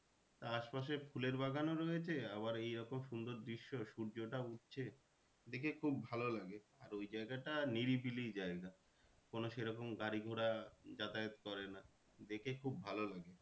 আশপাশে ফুলের বাগান ও আবার এইরকম সুন্দর দৃশ্য সূর্যটা উঠছে দেখে খুব ভালো লাগে। আর এই জায়গাটা নিরিবিলি জায়গা কোনো সে রকম গাড়ি ঘোড়া যাতায়াত করে না দেখে খুব ভালো লাগে।